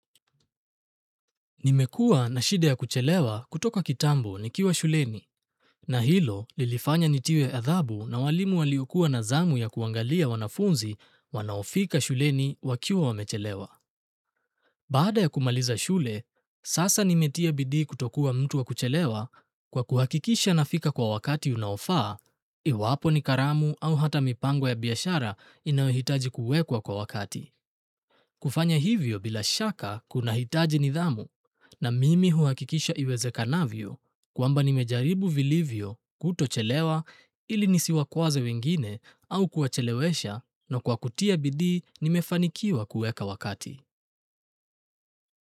Nimekuwa na shida ya kuchelewa kutoka kitambo nikiwa shuleni, na hilo lilifanya nitiwe adhabu na walimu waliokuwa na zamu ya kuangalia wanafunzi wanaofika shuleni wakiwa wamechelewa. Baada ya kumaliza shule, sasa nimetia bidii kutokuwa mtu wa kuchelewa kwa kuhakikisha nafika kwa wakati unaofaa, iwapo ni karamu au hata mipango ya biashara inayohitaji kuwekwa kwa wakati. Kufanya hivyo bila shaka kunahitaji nidhamu na mimi huhakikisha iwezekanavyo kwamba nimejaribu vilivyo kutochelewa ili nisiwakwaze wengine au kuwachelewesha, na kwa kutia bidii nimefanikiwa kuweka wakati.